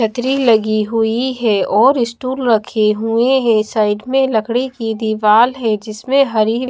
छतरी लगी हुई है और स्टूल रखे हुए हैं साइड में लकड़ी की दीवाल है जिसमें हरी--